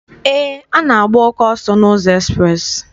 Eé, a na-agba oke ọsọ n'ụzọ ekspreesị.